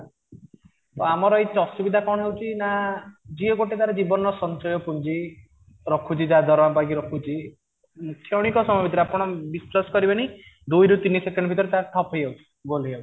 ତ ଆମର ଏଇ ଅସୁବିଧା କଣ ହେଉଛି ନା ଯିଏ ଗୋଟେ ତାର ଜୀବନର ସଞ୍ଚୟ ପୁଞ୍ଜି ରଖୁଛି ଯାହା ଦରମା ପାଇଁକି ରଖୁଛି କ୍ଷଣିକ ସମୟ ଭିତରେ ଆପଣ ବିଶ୍ୱାସ କରିବେନି ଦୁଇ ରୁ ତିନି ସେକେଣ୍ଡ ଭିତରେ ତାର ଠପ ହେଇଯାଉଛି ବନ୍ଦ ହେଇଯାଉଛି